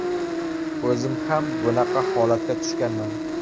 O‘zim ham bunaqa holatga tushganman.